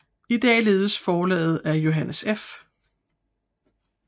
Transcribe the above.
I dag ledes forlaget af Johannes F